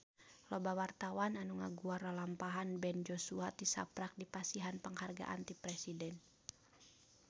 Loba wartawan anu ngaguar lalampahan Ben Joshua tisaprak dipasihan panghargaan ti Presiden